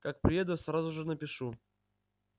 как приеду сразу же напишу